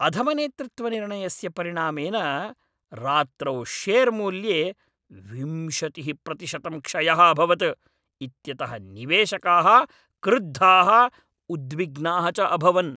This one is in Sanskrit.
अधमनेतृत्वनिर्णयस्य परिणामेन रात्रौ शेर् मूल्ये विंशतिः प्रतिशतं क्षयः अभवत् इत्यतः निवेशकाः क्रुद्धाः, उद्विग्नाः च अभवन्।